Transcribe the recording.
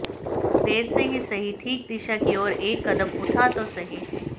देर से ही सही ठीक दिशा की ओर एक कदम उठा तो सही